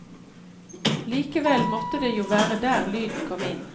Likevel måtte det jo være der lyden kom inn.